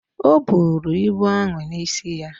O buru ibu ahụ n’isi ya